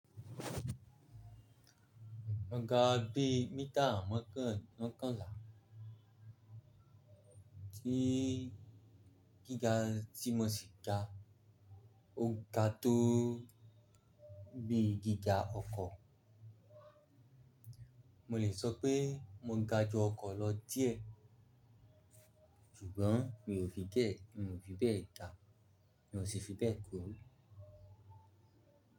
Mo ga bí mítà, mo kàn, mo kàn lá. Tí gíga tí mo sì ga, o ga tó bí gíga ọkọ̀. Mo lè sọ pé mo ga ju ọkọ̀ lọ díẹ̀, ṣùgbọ́n mi ò fi bẹ́ẹ̀, mi ò fi bẹ́ẹ̀ ga, mi ò sì fi bẹ́ẹ̀ kúrò.